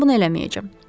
Mən bunu eləməyəcəm.